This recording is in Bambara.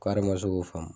ma se k'o faamu